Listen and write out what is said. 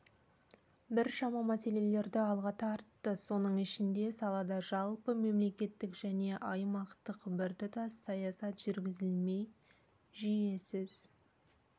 біршама мәселелерді алға тартты соның ішінде салада жалпы мемлекеттік және аймақтық біртұтас саясат жүргізілмей жүйесіз